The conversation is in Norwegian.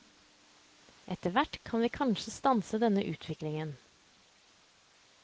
Etterhvert kan vi kanskje stanse denne utviklingen.